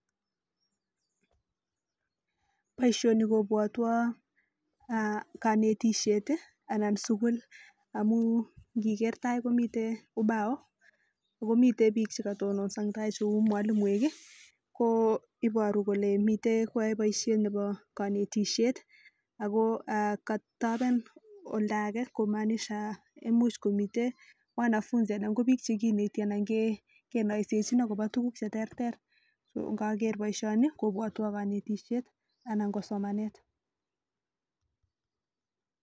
Boisioni kobwotwo kanetisiet anan sukul amu ngiker tai komite ubao akomi biik chekatononso eng tai cheu mwalimuinik ko iboru kole mitei koae boisiet nebo kanetisiet ako katoben oldo ake kumaanisha mitei wanafunzi konoisechin akobo tuguk cheterter ngaker bboisioni kobwotwo kanetisiet anan ko somanet